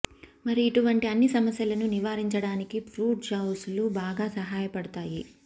మరి ఇటువంటి అన్ని సమస్యలను నివారించడానికి ఫ్రూట్ జూసులు బాగా సహాయపడుతాయి